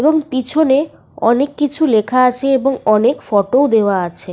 A school with latest standard লেখা আছে।